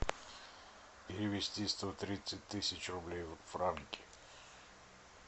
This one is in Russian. перевести сто тридцать тысяч рублей в франки